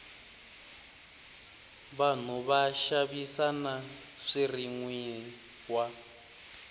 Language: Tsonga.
vanhu va xavisa na swirinwiwa